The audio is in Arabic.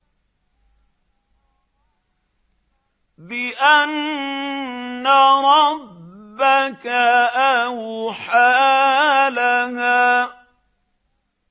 بِأَنَّ رَبَّكَ أَوْحَىٰ لَهَا